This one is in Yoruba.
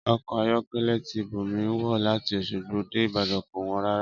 Ọkọ̀ ayọ̀kẹ́lẹ́ tí Bùnmi wọ̀ láti Oṣogbo dé Ibadan kò wọ́n rárá